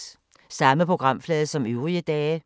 Samme programflade som øvrige dage